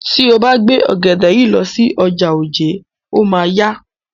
Tí o bá gbé ògèdè yìí lọ sí ọjà Ojé, o máa a yá.